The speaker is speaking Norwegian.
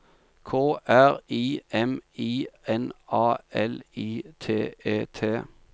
K R I M I N A L I T E T